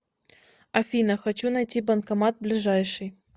афина хочу найти банкомат ближайший